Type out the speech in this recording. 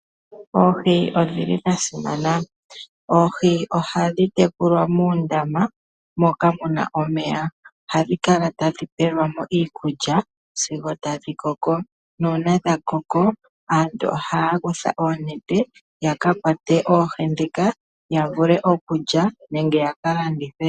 Oohi odhili dha simana. Oohi ohadhi tekulwa moondama moka muna omeya. Ohadhi kala tadhi pelwa mo iikulya sigo tadhi koko . Nuuna dha koko aantu ohaya kutha oonete ya ka kwate oohi ndhika , yavule okulya nenge ya ka landithe.